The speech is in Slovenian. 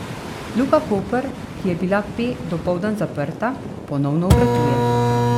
Luka Koper, ki je bila pe dopoldan zaprta, ponovno obratuje.